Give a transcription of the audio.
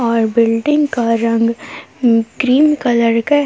और बिल्डिंग का रंग ग्रीन कलर का है।